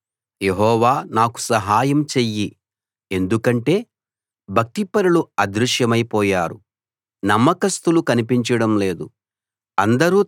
యెహోవా నాకు సహాయం చెయ్యి ఎందుకంటే భక్తిపరులు అదృశ్యమై పోయారు నమ్మకస్తులు కనిపించడం లేదు